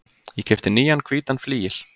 Ég keypti nýjan hvítan flygil.